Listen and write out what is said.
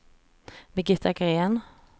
Birgitta Gren